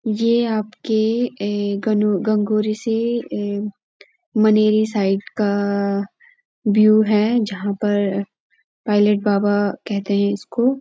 यह आपके ए गण गंगौरी से ए मनेरी साइड का व्यू है जहाँ पर पाइलेट बाबा कहते हैं इसको --